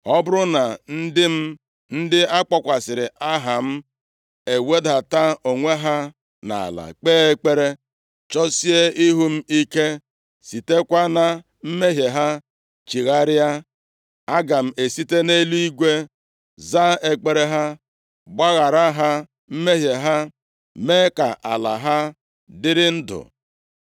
ọ bụrụ na ndị m ndị a kpọkwasịrị aha m, ewedata onwe ha nʼala, kpee ekpere, chọsie ihu m ike, sitekwa na mmehie ha chigharịa, aga m esite nʼeluigwe za ekpere ha, gbaghara ha mmehie ha, mee ka ala ha dịrị ndu.